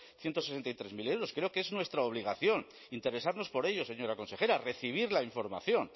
ciento sesenta y tres mil euros creo que es nuestra obligación interesarnos por ello señora consejera recibir la información